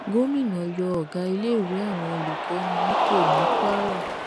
gomina yọ ọgá iléèwé àwọn olùkọni nípò ní kwara